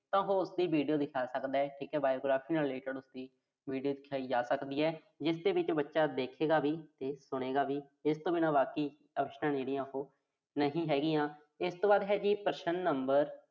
ਤਾਂ ਉਹੋ ਉਸਦੀ video ਦਿਖਾ ਸਕਦਾ। ਠੀਕਾ Biography ਨਾਲ related ਉਸਦੀ video ਦਿਖਾਈ ਜਾ ਸਕਦੀ ਆ, ਜਿਸ ਦੇ ਵਿੱਚ ਬੱਚਾ ਦੇਖੇਗਾ ਵੀ ਤੇ ਸੁਣੇਗਾ ਵੀ। ਇਸ ਤੋਂ ਬਿਨਾਂ ਬਾਕੀ options ਜਿਹੜੀ ਉਹੋ ਨਹੀਂ ਹੈਗੀਆਂ। ਇਸ ਤੋਂ ਬਾਅਦ ਹੈ ਜੀ ਪ੍ਰਸ਼ਨ number